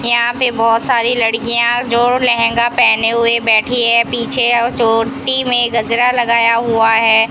यहां पे बहोत सारी लड़कियां जो लहंगा पहने हुए बैठी है पीछे वो चोटी में गजरा लगाया हुआ है।